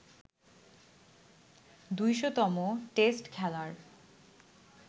২০০তম test খেলার